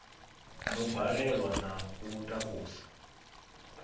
ḓo balelwa na u takusa